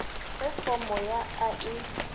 ge fomo ya a e